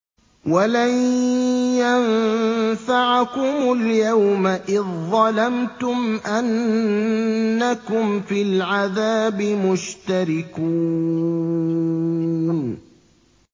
وَلَن يَنفَعَكُمُ الْيَوْمَ إِذ ظَّلَمْتُمْ أَنَّكُمْ فِي الْعَذَابِ مُشْتَرِكُونَ